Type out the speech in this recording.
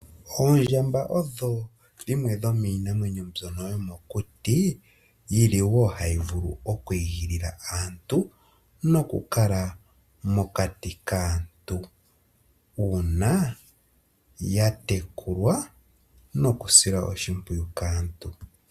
Oondjamba odho dhimwe dhomiinanwenyo mbyono yomokuti yili wo hayi vulu okwiigilila aantu noku kala mokati kaantu uuna ya tekulwa nokusilwa oshipwiyu kaantu.